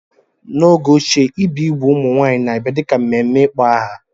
N'oge ochie, ibi igbu ụmụ nwanyị na-abia dị ka mmemme ịkpọ aha.